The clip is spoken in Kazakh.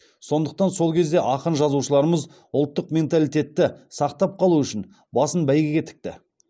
сондықтан сол кезде ақын жазушыларымыз ұлттық менталитетті сақтап қалу үшін басын бәйгеге тікті